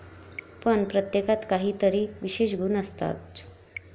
पण प्रत्येकात काही तरी विशेष गुण असतोच.